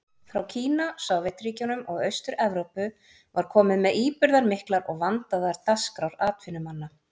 Frá Kína, Sovétríkjunum og Austur-Evrópu var komið með íburðarmiklar og vandaðar dagskrár atvinnumanna.